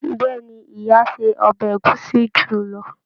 Bẹẹni, ìyá ṣe ọbẹ ẹ̀gúsí julọ.